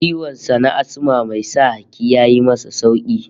Ciwon sa na Asma mai sa haki ya yi masa sauki